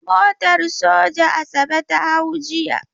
Motar soja Asabe ta hau jiya.